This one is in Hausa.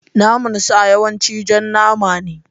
Naman sa yawanci jan nama ne.